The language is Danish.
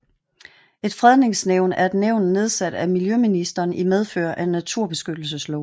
Et Fredningsnævn er et nævn nedsat af miljøministeren i medfør af naturbeskyttelsesloven